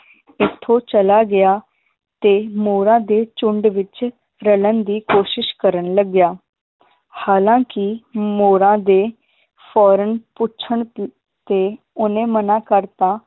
ਓਥੋਂ ਚਲਾ ਗਿਆ ਤੇ ਮੋਰਾਂ ਦੇ ਝੁੰਡ ਵਿਚ ਰਲਣ ਦੀ ਕੋਸ਼ਿਸ਼ ਕਰਨ ਲਗਿਆ ਹਾਲਾਂਕਿ ਮੋਰਾਂ ਦੇ ਫੌਰਨ ਪੁੱਛਣ ਤ~ ਤੇ ਓਹਨੇ ਮਨਾ ਕਰਤਾ